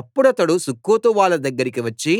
అప్పుడతడు సుక్కోతు వాళ్ళ దగ్గరికి వచ్చి